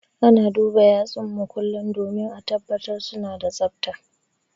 Ana duba yatsun mu kullum domin ã tabbatar suna da tsafta.